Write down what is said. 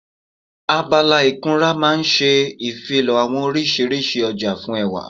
Abala ìkunra máa n ṣe ìfilọ́ àwọn oriṣiríṣi ọjà fún ẹwà